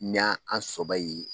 Ni an sɔbɛ ye